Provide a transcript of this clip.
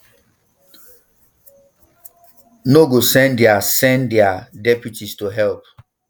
no go send dia send dia deputies to help